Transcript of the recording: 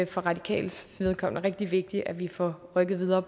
for radikales vedkommende rigtig vigtigt at vi får rykket videre